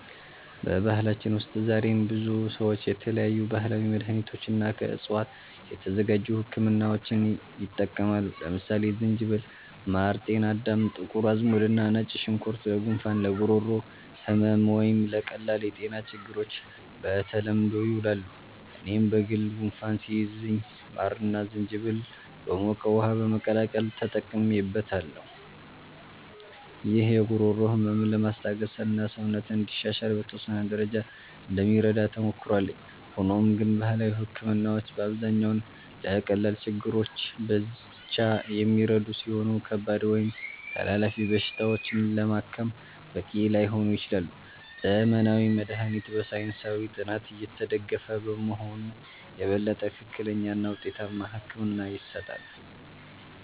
በባህላችን ውስጥ ዛሬም ብዙ ሰዎች የተለያዩ ባህላዊ መድሃኒቶችንና ከዕፅዋት የተዘጋጁ ህክምናዎችን ይጠቀማሉ። ለምሳሌ ዝንጅብል፣ ማር፣ ጤናዳም፣ ጥቁር አዝሙድ እና ነጭ ሽንኩርት ለጉንፋን፣ ለጉሮሮ ህመም ወይም ለቀላል የጤና ችግሮች በተለምዶ ይውላሉ። እኔም በግል ጉንፋን ሲይዘኝ ማርና ዝንጅብል በሞቀ ውሃ በመቀላቀል ተጠቅሜበታለሁ። ይህ የጉሮሮ ህመምን ለማስታገስና ሰውነትን እንዲሻሻል በተወሰነ ደረጃ እንደሚረዳ ተሞክሮ አለኝ። ሆኖም ግን ባህላዊ ህክምናዎች በአብዛኛው ለቀላል ችግሮች ብቻ የሚረዱ ሲሆኑ፣ ከባድ ወይም ተላላፊ በሽታዎችን ለማከም በቂ ላይሆኑ ይችላሉ። ዘመናዊ መድሃኒት በሳይንሳዊ ጥናት የተደገፈ በመሆኑ የበለጠ ትክክለኛና ውጤታማ ሕክምና ይሰጣል።